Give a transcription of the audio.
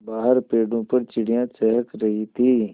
बाहर पेड़ों पर चिड़ियाँ चहक रही थीं